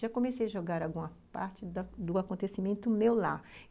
Já comecei a jogar alguma parte da do acontecimento meu lá.